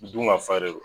Dun ka fa de don